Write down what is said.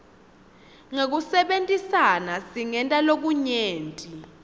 ngekusebentisana singenta lokunyenti